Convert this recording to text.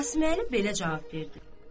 Qasıməli belə cavab verdi.